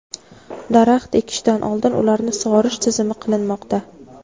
daraxt ekishdan oldin ularni sug‘orish tizimi qilinmoqda.